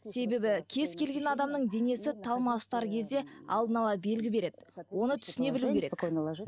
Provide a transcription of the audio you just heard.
себебі кез келген адамның денесі талмасы ұстар кезде алдын ала белгі береді оны түсіне білу керек